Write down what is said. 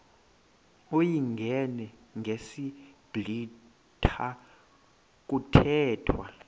uyingene ngesiblwitha kuthethwa